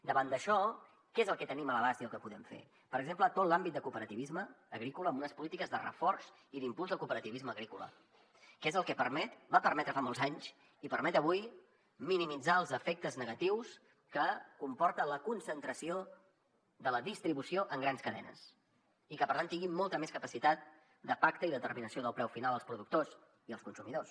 davant d’això que és el que tenim a l’abast i el que podem fer per exemple tot l’àmbit de cooperativisme agrícola amb unes polítiques de reforç i d’impuls del cooperativisme agrícola que és el que permet ho va permetre fa molts anys i ho permet avui minimitzar els efectes negatius que comporten la concentració de la distribució en grans cadenes i que per tant tinguin molta més capacitat de pacte i determinació del preu final els productors i els consumidors